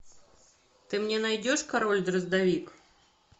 ты мне найдешь король дроздовик